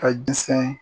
Ka jisɛn